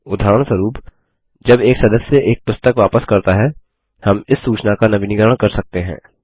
उदाहरणस्वरुपजब एक सदस्य एक पुस्तक वापस करता है हम इस सूचना का नवीनीकरण कर सकते हैं